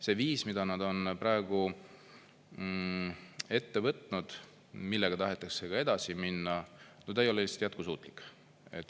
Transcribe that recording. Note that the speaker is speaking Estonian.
See viis, mida nad on praegu ette võtnud, millega tahetakse ka edasi minna: no ta ei ole just jätkusuutlik.